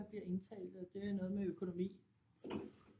Bliver indtalt og det er noget med økonomi